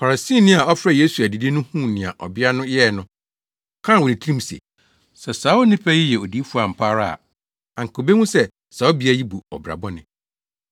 Farisini a ɔfrɛɛ Yesu adidi no huu nea ɔbea no yɛe no, ɔkaa wɔ ne tirim se, “Sɛ saa onipa yi yɛ odiyifo ampa ara a, anka obehu sɛ saa ɔbea yi bu ɔbra bɔne.”